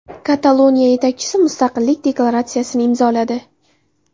Kataloniya yetakchisi mustaqillik deklaratsiyasini imzoladi.